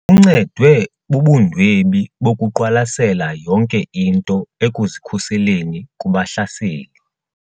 Uncedwe bubundwebi bokuqwalasela yonke into ekuzikhuseleni kubahlaseli.